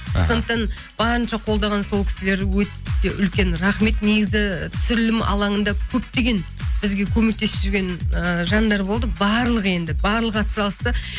іхі сондықтан барынша қолдаған сол кісілер өте үлкен рахмет негізі түсірілім алаңында көптеген бізге көмектесіп жүрген ы жандар болды барлығы енді барлығы атсалысты